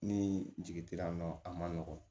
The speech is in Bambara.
Ni jigi tera nɔ a ma nɔgɔn